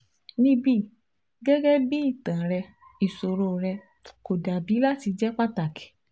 Nibi gẹgẹbi itan rẹ iṣoro rẹ ko dabi lati jẹ pataki